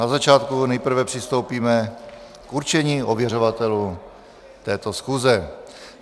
Na začátku nejprve přistoupíme k určení ověřovatelů této schůze.